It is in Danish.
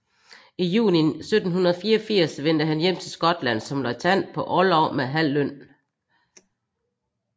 I juni 1784 vendte han hjem til Skotland som løjtnant på orlov med halv løn